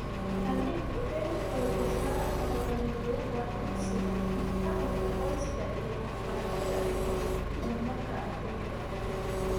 Tani waxay xoojisaa barnaamijyada dugsiga, dhaqanka qoyska iyo waxbarashada iyo horumarka ardayga.